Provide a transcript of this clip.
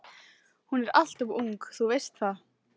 Hún er alltof ung, þú veist það.